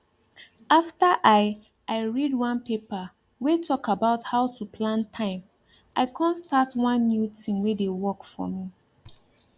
after i i read one paper way talk about how to plan time i come start one new tin wey dey work for me